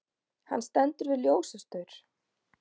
Hann stendur við ljósastaur.